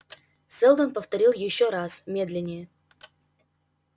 сэлдон повторил ещё раз медленнее